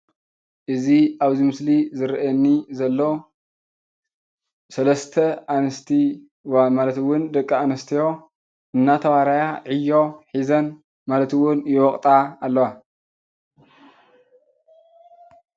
እዚ አብዚ ምስሊ ዝረአየኒ ዘሎ ሰለስተ አንስቲ ዋ ማለት እውን ደቂ አንስትዮ እናተባረያ ዕዮ ሒዘን ማለት እውን ይወቅጣ አለዋ ፡፡